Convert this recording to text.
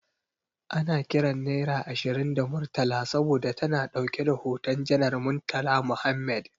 Ana kiran naira ashirin da Murtala saboda ta na dauke da hoton Janar Murtala Mohammed.